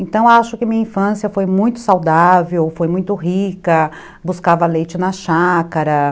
Então, acho que minha infância foi muito saudável, foi muito rica, buscava leite na chácara.